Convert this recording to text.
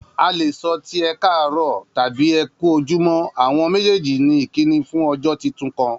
A le sọ ti ẹ káàrọ́ọ̀ tabi ẹ ku ojumo, awọn mejeeji ni ikini fun ọjọ titun kan